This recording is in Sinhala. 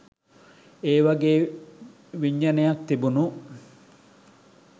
ඒවගේ විඥනයක් තිබුණු